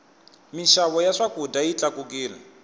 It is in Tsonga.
mixavo ya swakudya yi tlakukile